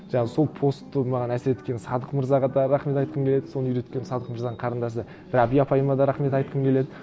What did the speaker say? жаңа сол постты маған әсер еткен садық мырзаға да рахмет айтқым келеді соны үйреткен садық мырзаның қарындасы рабия апайыма да рахмет айтқым келеді